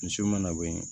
Misiw mana bɔ yen